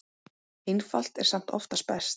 Einfalt er samt oftast best.